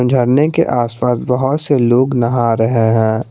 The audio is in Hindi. झरने के आसपास बाहर से लोग नहा रहे हैं।